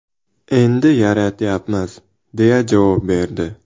Endi yaratyapmiz”, deya javob berdi.